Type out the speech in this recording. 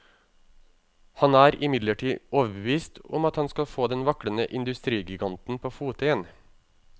Han er imidlertid overbevist om at han skal få den vaklende industrigiganten på fote igjen.